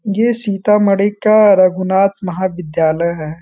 ये सीतामढ़ी का रघुनाथ महाविद्यालय हैं।